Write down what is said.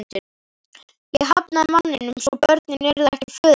Ég hafnaði manninum svo börnin yrðu ekki föðurlaus.